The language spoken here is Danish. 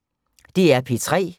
DR P3